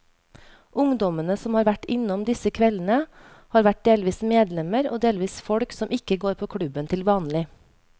Ungdommene som har vært innom disse kveldene, har vært delvis medlemmer og delvis folk som ikke går på klubben til vanlig.